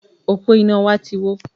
Òpó iná wa ti wó